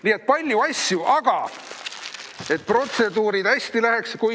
Nii et palju asju, et protseduurid hästi läheks.